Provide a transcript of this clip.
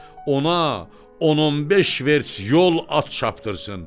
Ona 10-15 verts yol at çapdırsın.